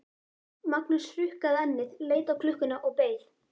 Magnús hrukkaði ennið, leit á klukkuna og beið.